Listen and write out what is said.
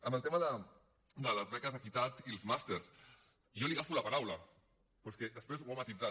en el tema de les beques equitat i els màsters jo li agafo la paraula però és que després ho ha matisat